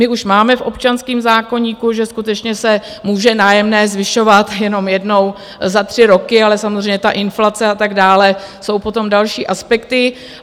My už máme v občanském zákoníku, že skutečně se může nájemné zvyšovat jenom jednou za tři roky, ale samozřejmě ta inflace a tak dále jsou potom další aspekty.